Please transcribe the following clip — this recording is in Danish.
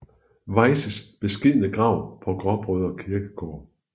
Weyses beskedne grav på Gråbrødre Kirkegård